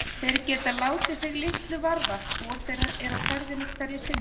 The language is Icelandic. Þeir geta látið sig litlu varða hvor þeirra er á ferðinni hverju sinni.